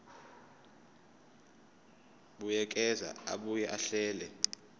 buyekeza abuye ahlele